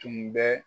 Tun bɛ